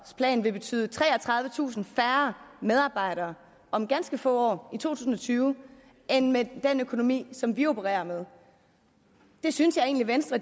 plan vil betyde treogtredivetusind færre medarbejdere om ganske få år i to tusind og tyve end med den økonomi som vi opererer med det synes jeg egentlig venstre